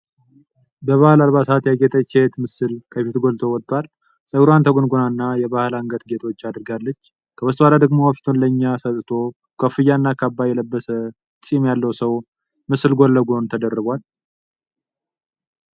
በባሕል አልባሳት ያጌጠች ሴት ምስል ከፊት ጎልቶ ወጥቷል። ጸጉሯን ተጎንጉና የባሕል የአንገት ጌጦች አድርጋለች። ከበስተኋላ ደግሞ ፊቱን ለኛ ሰጥቶ ኮፍያ እና ካባ የለበሰ ጢም ያለው ሰው ምስል ጎን ለጎን ተደራርቧል።